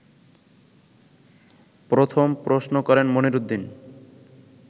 প্রথম প্রশ্ন করেন মনিরউদ্দীন